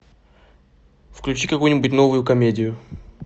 включи какую нибудь новую комедию